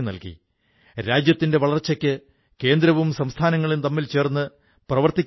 ഈ വനിതകൾ കർഷകരുടെ കൃഷിയിടങ്ങളിൽ നിന്നും പച്ചക്കറികളും പഴങ്ങളും വാങ്ങി നേരിട്ട് വീടുകളിലെത്തിച്ചു